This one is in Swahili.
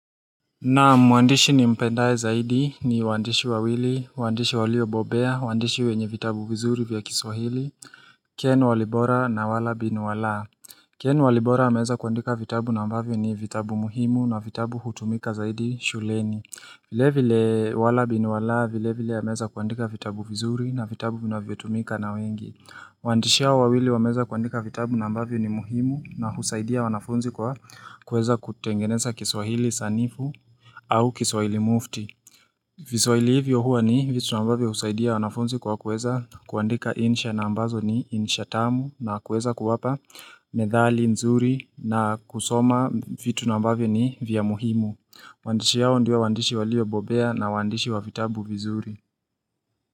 Naam, mwandishi nimpendaye zaidi ni waandishi wawili, waandishi waliobobea, waandishi wenye vitabu vizuri vya kiswahili, Ken Walibora na wala bin Walaa. Ken Walibora ameweza kuandika vitabu na ambavyo ni vitabu muhimu na vitabu hutumika zaidi shuleni. Vilevile wala bin Walaa, vilevile ameweza kuandika vitabu vizuri na vitabu vinavyotumika na wengi. Waandishi hawa wawili wameweza kuandika vitabu na ambavyo ni muhimu na husaidia wanafunzi kwa kuweza kutengeneza kiswahili sanifu au kiswahili mufti. Viswahili hivyo huwa ni vitu nambavyo husaidia wanafunzi kwa kuweza kuandika insha na ambazo ni insha tamu na kuweza kuwapa methali nzuri na kusoma vitu nambavyo ni vya muhimu. Waandishi hawa ndio waandishi waliobobea na waandishi wa vitabu vizuri.